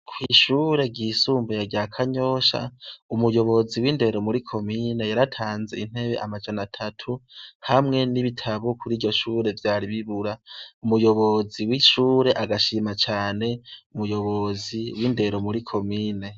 Kw'ishure ryisumbuye rya Kanyosha, umuyobozi w'indero muri Komine yaratanze intebe amajana atatu hamwe n'ibitabo kuri iryo shure vyari bibura. Umuyobozi w'ishure agashima cane umuyobozi w'indero muri Komine.